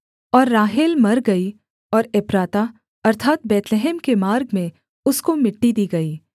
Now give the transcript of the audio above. और राहेल मर गई और एप्राता अर्थात् बैतलहम के मार्ग में उसको मिट्टी दी गई